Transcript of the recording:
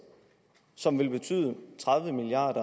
som vil betyde tredive milliard